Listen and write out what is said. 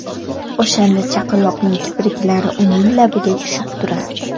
O‘shanda chaqaloqning kipriklari uning labiga tushib turardi.